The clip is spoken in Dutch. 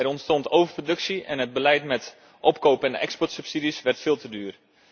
Er ontstond overproductie en het beleid met opkoop en exportsubsidies werd veel te duur.